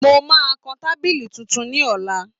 Mo máa kan tábìlì tuntun ní ọ̀la